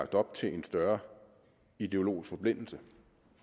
op til en større ideologisk forblindelse